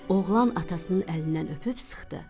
Oğlan atasının əlindən öpüb sıxdı.